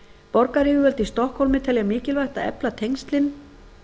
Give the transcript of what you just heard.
borgaryfirvöld í stokkhólmi telja mikilvægt að efla tengslin